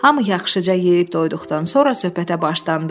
Hamı yaxşıca yeyib doyduqdan sonra söhbətə başlandı.